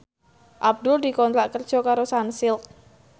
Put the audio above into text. Abdul dikontrak kerja karo Sunsilk